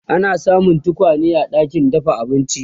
ana samun tokwane a ɗakin dafa abinci